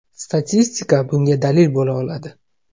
Statistika bunga dalil bo‘la oladi.